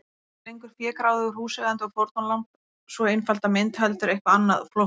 Ekki lengur fégráðugur húseigandi og fórnarlamb, sú einfalda mynd, heldur eitthvað annað, flóknara.